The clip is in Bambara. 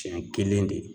Siɲɛ kelen de